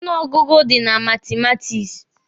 Ọnụ ọgụgụ dị na matumatiksi.